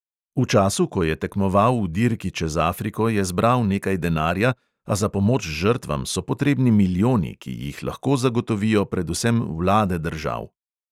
V času, ko je tekmoval v dirki čez afriko, je zbral nekaj denarja, a za pomoč žrtvam so potrebni milijoni, ki jih lahko zagotovijo predvsem vlade držav.